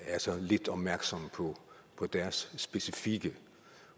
er så lidt opmærksomme på deres specifikke